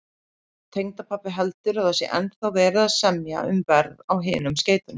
Tengdapabbi heldur, að það sé ennþá verið að semja um verð á hinum skeytunum